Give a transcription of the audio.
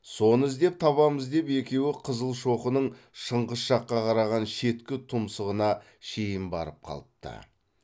соны іздеп табамыз деп екеуі қызылшоқының шыңғыс жаққа қараған шеткі тұмсығына шейін барып қалыпты